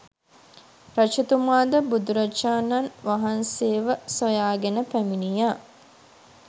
රජතුමාද බුදුරජාණන් වහන්සේව සොයාගෙන පැමිණියා